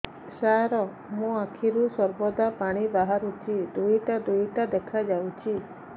ସାର ମୋ ଆଖିରୁ ସର୍ବଦା ପାଣି ବାହାରୁଛି ଦୁଇଟା ଦୁଇଟା ଦେଖାଯାଉଛି